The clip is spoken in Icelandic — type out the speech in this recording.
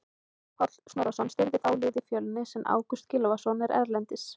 Ólafur Páll Snorrason stýrði þá liði Fjölnis en Ágúst Gylfason er erlendis.